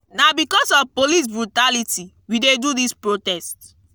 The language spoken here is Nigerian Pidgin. na because of police brutality we de do dis protest.